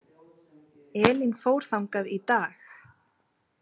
Elín fór þangað í dag.